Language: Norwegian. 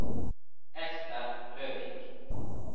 Esther Løvik